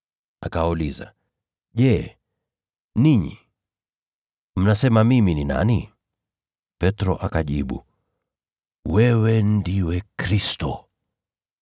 Akawauliza, “Je, ninyi mnasema mimi ni nani?” Petro akajibu, “Wewe ndiwe Kristo.”